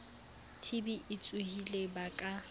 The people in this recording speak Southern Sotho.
tb e tsohileng ba ka